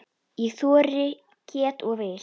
Ég þori, get og vil!